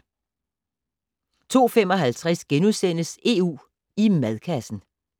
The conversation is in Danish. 02:55: EU i madkassen *